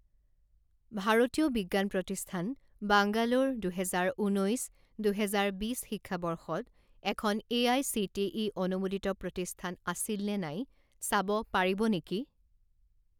ভাৰতীয় বিজ্ঞান প্ৰতিষ্ঠান বাংগালোৰ দুহেজাৰ ঊনৈছ দুহেজাৰ বিছ শিক্ষাবৰ্ষত এখন এআইচিটিই অনুমোদিত প্ৰতিষ্ঠান আছিল নে নাই চাব পাৰিব নেকি?